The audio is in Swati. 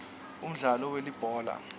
umdlalo welibhola